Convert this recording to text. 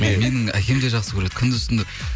менің әкем де жақсы көреді күндіз түні